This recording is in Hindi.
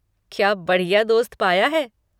क्या बढ़िया दोस्त पाया है!